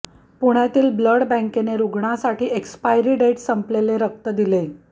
पुण्यातील ब्लड बँकेने रूग्णासाठी एक्स्पायरी डेट संपलेले रक्त दिले